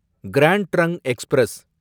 grand Trunk express